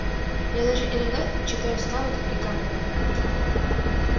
я даже иногда читаю стаута и гарднера